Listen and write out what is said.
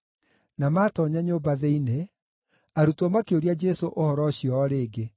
Na maatoonya nyũmba thĩinĩ, arutwo makĩũria Jesũ ũhoro ũcio o rĩngĩ.